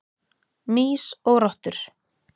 Mýs og rottur.